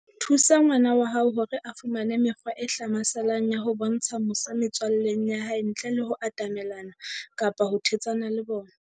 Thusa ngwana wa hao hore a fumane mekgwa e hlamaselang ya ho bontsha mosa metswalleng ya hae, ntle le ho atamelana kapa ho thetsana le bona.